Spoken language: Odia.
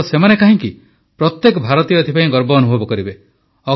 କେବଳ ସେମାନେ କାହିଁକି ପ୍ରତ୍ୟେକ ଭାରତୀୟ ଏଥିପାଇଁ ଗର୍ବ ଅନୁଭବ କରିବେ